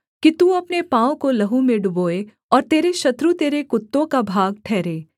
कि तू अपने पाँव को लहू में डुबोए और तेरे शत्रु तेरे कुत्तों का भाग ठहरें